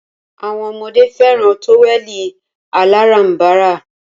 Awọn ọmọdé fẹràn tówẹ̀lì aláránbara.